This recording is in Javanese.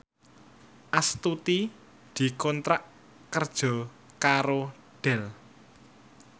Astuti dikontrak kerja karo Dell